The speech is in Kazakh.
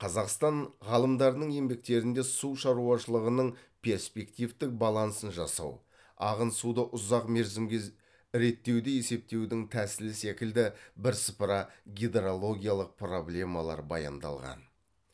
қазақстан ғалымдарының еңбектерінде су шаруашылығының перспективтік балансын жасау ағын суды ұзақ мерзімге реттеуді есептеудің тәсілі секілді бірсыпыра гидрологиялық проблемалар баяндалған